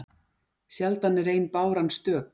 Sjaldan er ein báran stök.